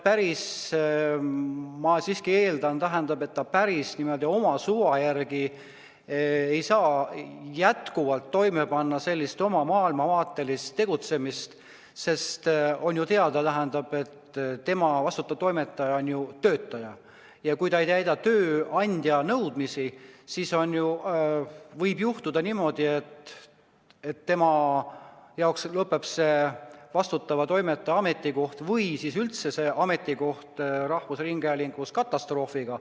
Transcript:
Ma siiski eeldan, et ta päris oma suva järgi, oma maailmavaate järgi ei saa tegutseda, sest on ju teada, et tema, vastutav toimetaja, on töötaja ja kui ta ei täida tööandja nõudmisi, siis võib juhtuda niimoodi, et tema jaoks lõpeb vastutava toimetaja ametikoht või üldse ametikoht rahvusringhäälingus katastroofiga.